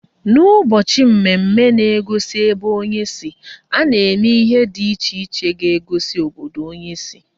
N'ụbọchị mmemme na-egosi ebe onye si, a na-eme ihe dị iche iche ga-egosi obodo onye si